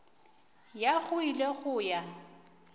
ya go ile go ya